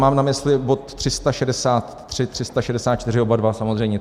Mám na mysli bod 363, 364, oba dva samozřejmě.